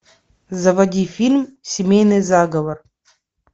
заводи фильм семейный заговор